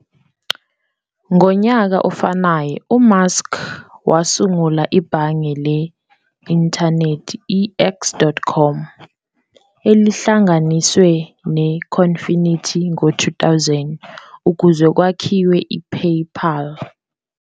Ngonyaka ofanayo, uMusk wasungula ibhange le-inthanethi i-X.com, elihlanganiswe ne-Confinity ngo-2000 ukuze kwakhiwe i-PayPal.